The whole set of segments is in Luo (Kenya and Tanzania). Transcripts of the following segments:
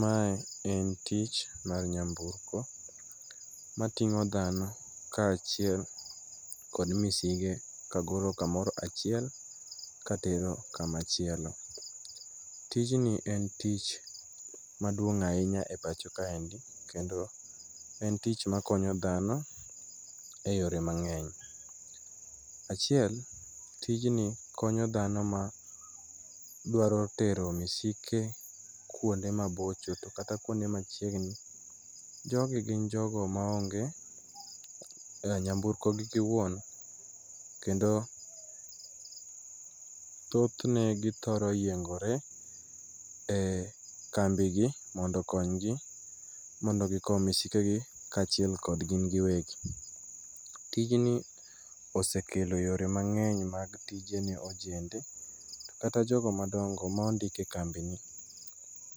Mae en tich mar nyamburko mating'o dhano kaachiel kod misige kagolo kamoro achiel katero kama chielo. Tijni en tich maduong' ahinya e pacho kaendi, kendo en tich makonyo dhano e yore mang'eny. Achiel, tijni konyo dhano ma dwaro tero misike kuonde mabocho. To kata kuonde machiegni. Jogi gin jogo maonge nyamburko gi giwuon, kendo thothne githoro yiengore e kambi gi mondo okony gi mondo gikow misikegi kaachiel kod gin giwegi. Tijni osekelo yore mang'eny mag tije ne ojende kata jogo madongo ma ondike kambini.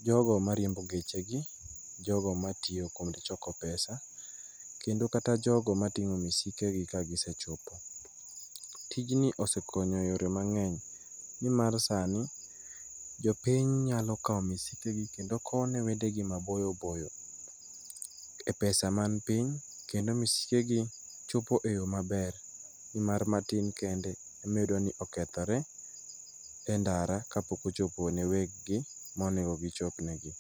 Jogo mariembo geche gi, jogo matiyo kod choko pesa, kendo kata jogo mating'o misike gi ka gisechopo. Tijni osekonyo e yore mang'eny ni mar sani jopiny nyalo kawo misikegi, kendo kowo ne wedegi maboyo boyo, e pesa mani piny, kendo misikegi chopo e yo maber. Ni mar matin kende ema iyudo ni okethore endara, ka pok ochopo ne weggi, ma onego gichopnegi.